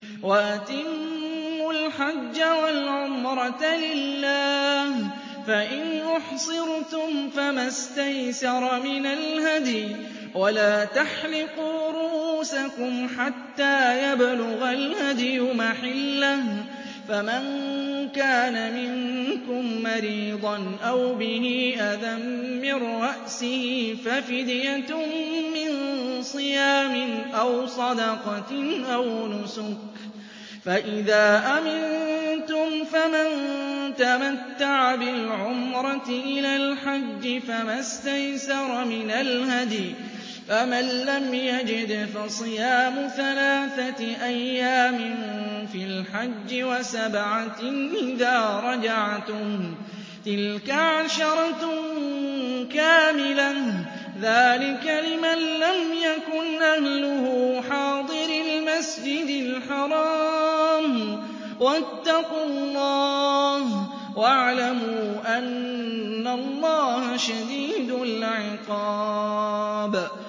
وَأَتِمُّوا الْحَجَّ وَالْعُمْرَةَ لِلَّهِ ۚ فَإِنْ أُحْصِرْتُمْ فَمَا اسْتَيْسَرَ مِنَ الْهَدْيِ ۖ وَلَا تَحْلِقُوا رُءُوسَكُمْ حَتَّىٰ يَبْلُغَ الْهَدْيُ مَحِلَّهُ ۚ فَمَن كَانَ مِنكُم مَّرِيضًا أَوْ بِهِ أَذًى مِّن رَّأْسِهِ فَفِدْيَةٌ مِّن صِيَامٍ أَوْ صَدَقَةٍ أَوْ نُسُكٍ ۚ فَإِذَا أَمِنتُمْ فَمَن تَمَتَّعَ بِالْعُمْرَةِ إِلَى الْحَجِّ فَمَا اسْتَيْسَرَ مِنَ الْهَدْيِ ۚ فَمَن لَّمْ يَجِدْ فَصِيَامُ ثَلَاثَةِ أَيَّامٍ فِي الْحَجِّ وَسَبْعَةٍ إِذَا رَجَعْتُمْ ۗ تِلْكَ عَشَرَةٌ كَامِلَةٌ ۗ ذَٰلِكَ لِمَن لَّمْ يَكُنْ أَهْلُهُ حَاضِرِي الْمَسْجِدِ الْحَرَامِ ۚ وَاتَّقُوا اللَّهَ وَاعْلَمُوا أَنَّ اللَّهَ شَدِيدُ الْعِقَابِ